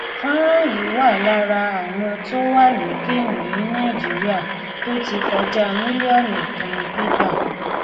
fọnrán yìí wà lára àwọn tó wà lókè ní nàìjíríà tó ti kọjá mílíọnù kan gbígbà